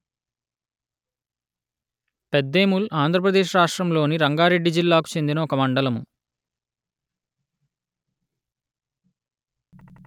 పెద్దేముల్‌ ఆంధ్ర ప్రదేశ్ రాష్ట్రములోని రంగారెడ్డి జిల్లాకు చెందిన ఒక మండలము